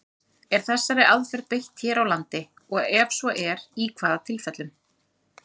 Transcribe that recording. Er þessari aðferð beitt hér á landi, og ef svo er, í hvaða tilfellum?